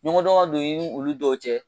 Ɲɔgɔndɔn ka don i ni olu dɔw cɛ